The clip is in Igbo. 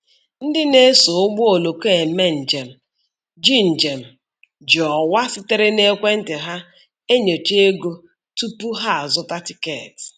Ndị na-eso ụgbọ oloko eme njem ji njem ji ọwa sitere n'ekwentị ha enyocha ego ụgbọ tupu ha azụta tikeeti.